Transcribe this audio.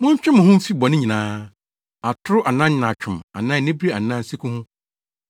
Montwe mo ho mfi bɔne nyinaa, atoro anaa nyaatwom anaa anibere anaa nseku ho.